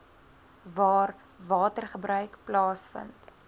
waar watergebruik plaasvind